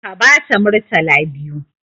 Ka bata murtala biyu!